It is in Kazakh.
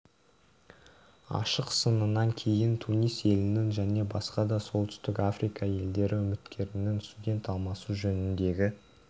ашық сынынан кейін тунис елінің және басқа да солтүстік африка елдері үкіметтерінің студент алмасу жөніндегі